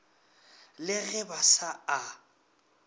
le ge ba sa a